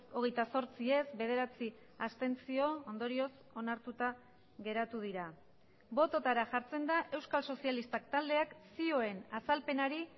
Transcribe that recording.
hogeita zortzi ez bederatzi abstentzio ondorioz onartuta geratu dira bototara jartzen da euskal sozialistak taldeak zioen azalpenari